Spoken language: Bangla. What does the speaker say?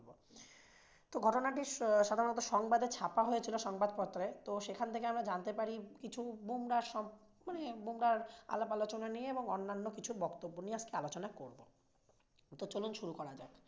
ঘটনাটি সাধারণত সংবাদে ছাপা হয়েছিল সংবাদপত্রে তো সেখান থেকে আমরা জানতে পারি বুমরাহ সম্পর্কে মানে বামরাহ আলাপ-আলোচনা নিয়ে এবং অন্যান্য কিছু বক্তব্য নিয়ে আজকে আলোচনা করবো। তো চলুন শুরু করা যাক।